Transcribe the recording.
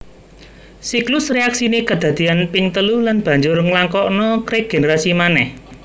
Siklus réaksiné kedadéyan ping telu lan banjur nglakokna régenerasi manéh